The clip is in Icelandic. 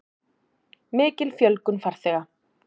Mikil fjölgun farþega